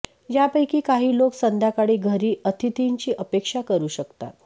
यापैकी काही लोक संध्याकाळी घरी अतिथींची अपेक्षा करू शकतात